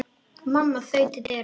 Mamma þaut til dyra.